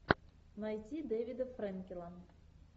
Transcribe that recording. найти дэвида фрэнкела